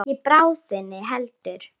Og ekki í bráðina heldur.